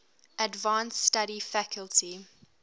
advanced study faculty